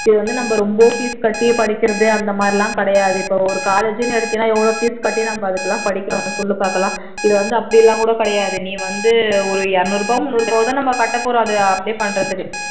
இது வந்து நம்ம ரொம்ப fees கட்டி படிக்கிறது அந்த மாதிரி எல்லாம் கிடையாது இப்போ ஒரு college ன்னு எடுத்தீன்னா எவ்வளவு fees கட்டி நம்ம அதுக்கெல்லாம் படிக்கிறோம் சொல்லு பாக்கலாம் இது வந்து அப்படி எல்லாம் கூட கிடையாது நீ வந்து ஒரு இருநூறு ரூபாய் முன்னூறு ரூபாய் தான் கட்டப்போறோம் அத apply பண்றதுக்கு